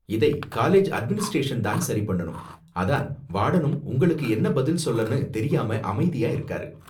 இதை college administration தான் சரி பண்ணனும், அதான் வார்டனும் உங்களுக்கு என்ன பதில் சொல்லனு தெரியாம அமைதியா இருக்காரு.